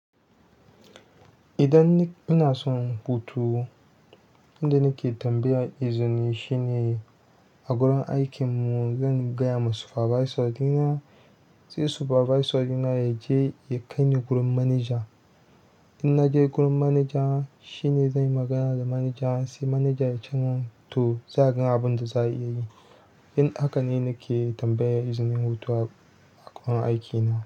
Idan ni ina son hutu, inda nake tambaya izini shine a gurin aikin mu zan gaya ma supervisor ɗina, sai supervisor ɗina ya je ya kai ni gurin manager. In na je gurin manager, shi ne zan yi magana da manager sai manager ya ce mun, to za a ga abunda za a iya yi. In haka ne nake tambaya izinin hutuwa a gurin aikina.